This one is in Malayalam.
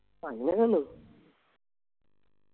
അങ്ങനെയുള്ളൂ